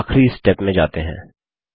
और आखिरी स्टेप में जाते हैं